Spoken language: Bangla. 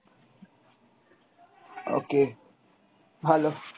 okay ভালো।